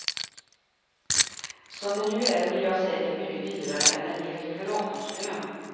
Som det nu är blir jag säkert mycket dyrare än en hel kuratorslön.